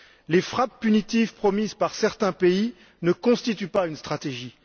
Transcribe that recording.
Les frappes punitives promises par certains pays ne constituent pas une stratégie.